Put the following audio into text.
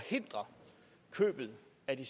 at vi